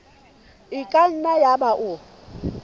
e ka nna yaba o